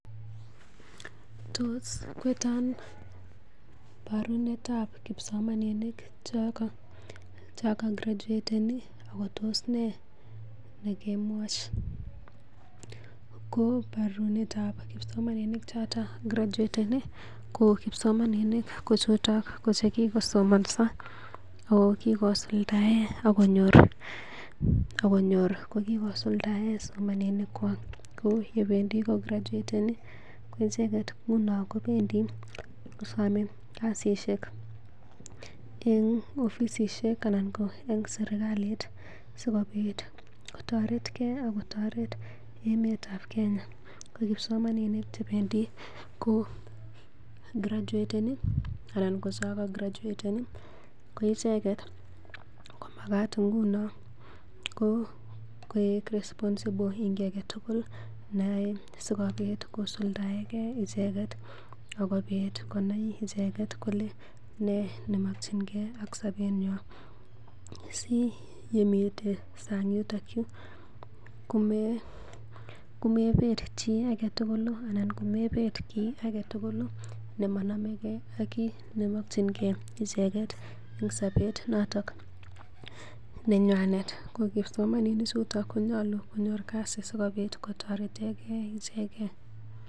Tos kweton parunet ap kipsomaninik choko graduateni ako tos ne nekwcham? Koparunetab kipsomaninik choto graduateni, ko kipsomaninik chuto ko chekikosomanso ago kigosuldaen ak konyor kogikosuldaen somanenywan ko yebendi kograduateni koicheget ko nan kobendi kosome kasishek en ofisishek anan ko en serkalit sikobit kotoret ge ak kotoret emet ab Kenya. Ko kipsomaninik che bendi ko graduateni anan ko chekago graduaten ko icheget komagat nguno koik responsible en kiy age tugul neyoe sikobit kosuldaege icheget ak kobit konai icheget kole nee nomkinge ak sobenywan si yemite sang yuton yu komeger chi age tugul kiy nemanomege ak kiy nemokinge icheget en sobet noton nenywanet. Ko kipsomaninik chuto konyolu konyor kasi sikobit kotoretege icheget.